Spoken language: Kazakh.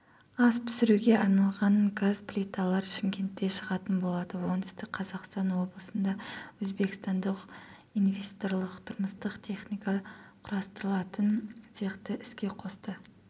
ас пісіруге арналған газ плиталар шымкентте шығатын болады оңтүстік қазақстан облысында өзбекстандық инвесторлар тұрмыстық техника құрастыратын цехты іске қосты